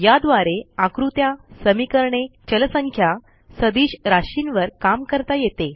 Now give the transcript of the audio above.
याद्वारे आकृत्या समीकरणे चलसंख्या सदिश राशींवर काम करता येते